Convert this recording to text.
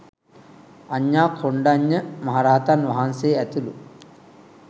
අඤ්ඤා කොණ්ඩඤ්ඤ මහ රහතන් වහන්සේ ඇතුළු